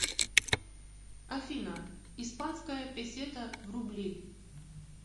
афина испанская песета в рубли